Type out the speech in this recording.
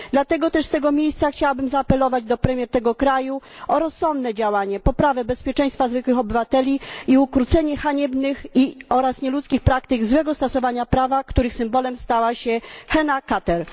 Dlatego też z tego miejsca chciałabym zaapelować do premier tego kraju o rozsądne działanie, poprawę bezpieczeństwa zwykłych obywateli i ukrócenie haniebnych oraz nieludzkich praktyk złego stosowania prawa, których symbolem stała się Hena Kabir.